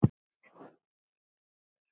Hvorki stórir flokkar né smáir.